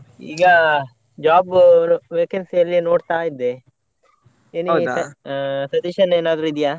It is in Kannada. ಈಗ job vacancy ಯಲ್ಲಿಯೇ ನೋಡ್ತಾ ಇದ್ದೆ any suggestion ಏನಾದ್ರು ಇದೆಯಾ?